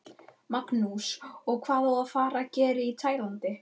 Magnús: Og hvað á að fara að gera í Tælandi?